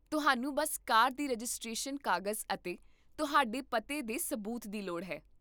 ਤੁਹਾਨੂੰ ਬੱਸ ਕਾਰ ਦੀ ਰਜਿਸਟ੍ਰੇਸ਼ਨ ਕਾਗਜ਼ ਅਤੇ ਤੁਹਾਡੇ ਪਤੇ ਦੇ ਸਬੂਤ ਦੀ ਲੋੜ ਹੈ